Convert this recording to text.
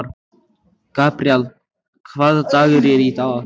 Gabríel, hvaða dagur er í dag?